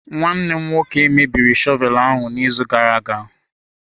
Nwanne m nwoke mebiri shọvel ahụ n'izu gara aga.